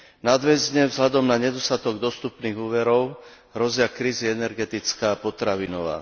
Nadväzne vzhľadom na nedostatok dostupných úverov hrozia krízy energetická a potravinová.